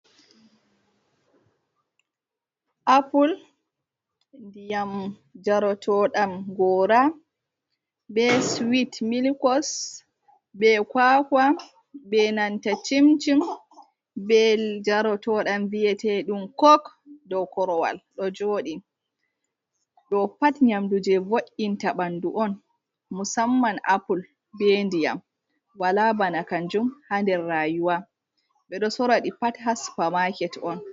apple dyam jrtd0 gr be swit milicos be kakwa be nanta cimjin be jartdam viyetedum kok do korowal do jodi do pat nyamdu je vo’’inta bandu on musamman apple be ndiyam wala bana kanjum ha nder rayuwa bedo soradi pat haspa market on